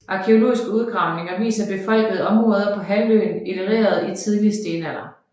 Arkæologiske udgravninger viser befolkede områder på halvøen ellerede i tidlig stenalder